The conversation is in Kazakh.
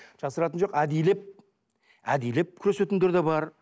жасыратыны жоқ әдейілеп әдейілеп күресетіндер де бар